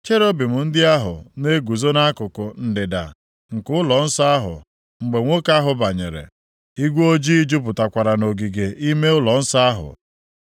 Cherubim ndị ahụ na-eguzo nʼakụkụ ndịda nke ụlọnsọ ahụ mgbe nwoke ahụ banyere. Igwe ojii jupụtakwara nʼogige ime ụlọnsọ ahụ.